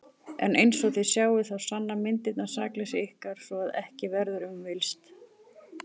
En einsog þið sjáið þá sanna myndirnar sakleysi ykkar svo að ekki verður um villst.